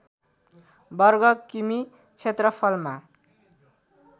वर्ग किमि क्षेत्रफलमा